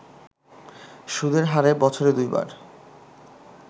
সুদের হারে বছরে দুইবার